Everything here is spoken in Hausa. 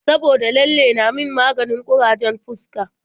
Saboda lalle na min maganin ƙurajen fuska.